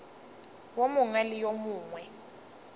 wo mongwe le wo mongwe